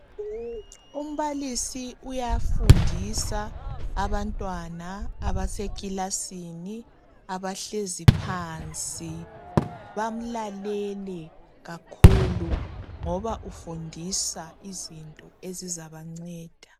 Umbalisi uyafundisa abantwana abasekilasini abahlezi phansi bamlalele kakhulu ngoba ufundisa izinto ezizabanceda.